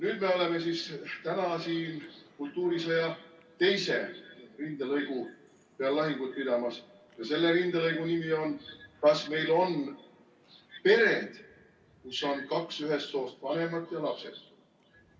Nüüd me oleme siis täna siin kultuurisõja teisel rindelõigul lahinguid pidamas ja selle rindelõigu nimi on, kas meil on pered, kus on kaks ühest soost vanemat ja lapsed.